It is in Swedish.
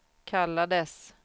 kallades